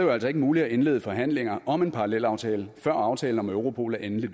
jo altså ikke muligt at indlede forhandlinger om en parallelaftale før aftalen om europol er endelig